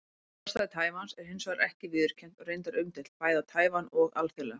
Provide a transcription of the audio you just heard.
Sjálfstæði Taívans er hins vegar ekki viðurkennt og reyndar umdeilt, bæði á Taívan og alþjóðlega.